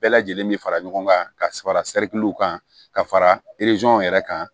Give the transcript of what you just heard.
Bɛɛ lajɛlen bɛ fara ɲɔgɔn kan ka sabara kan ka fara yɛrɛ kan